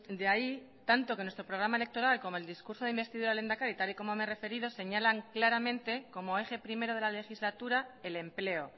de ahí tanto que nuestro programa electoral como el discurso de investidura del lehendakari tal y como me he referido señalan claramente como eje primero de la legislatura el empleo